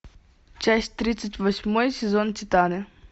часть тридцать восьмой сезон титаны